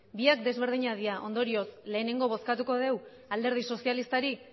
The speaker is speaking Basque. biak desberdinak dira ondorioz lehenengo bozkatuko dugu alderdi sozialistari